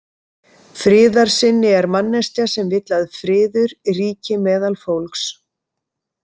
Friðarsinni er manneskja sem vill að friður ríki meðal fólks.